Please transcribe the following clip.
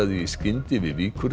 í skyndi við